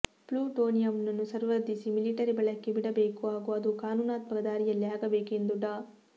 ಪ್ಲುಟೋನಿಯಂನ್ನು ಸಂವರ್ಧಿಸಿ ಮಿಲಿಟರಿ ಬಳಕೆಗೆ ಬಿಡಬೇಕು ಹಾಗೂ ಅದು ಕಾನೂನಾತ್ಮಕ ದಾರಿಯಲ್ಲೇ ಆಗಬೇಕು ಎಂದು ಡಾ